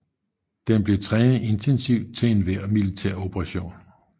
Den blev trænet intensivt til enhver militæroperation